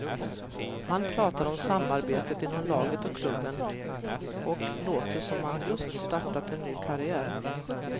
Han pratar om samarbetet inom laget och klubben och låter som om han just startat en ny karriär.